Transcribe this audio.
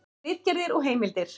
Ritgerðir og heimildir.